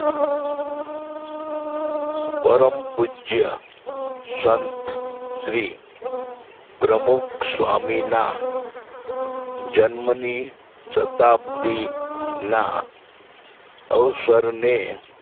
પરમ પૂજ્ય સંત શ્રી પ્રમુખ સ્વામીના જન્મની શતાબ્દીના અવસરને